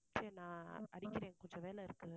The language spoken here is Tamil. சரி நான் அடிக்கிறேன் கொஞ்சம் வேலை இருக்கு.